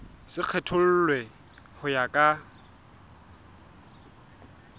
se kgethollwe ho ya ka